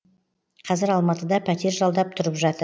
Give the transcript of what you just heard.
қазір алматыда пәтер жалдап тұрып жатыр